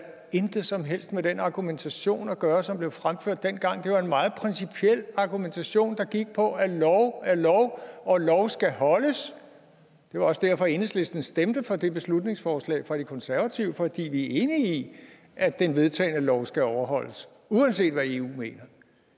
intet som helst har med den argumentation at gøre som blev fremført dengang det var en meget principiel argumentation der gik på at lov er lov og lov skal holdes det var også derfor enhedslisten stemte for det beslutningsforslag fra de konservative fordi vi er enige i at den vedtagne lov skal overholdes uanset hvad eu mener